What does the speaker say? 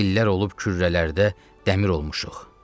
İllər olub kürrələrdə dəmir olmuşuq.